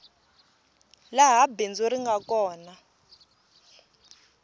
laha bindzu ri nga kona